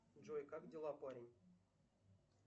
джой как дела парень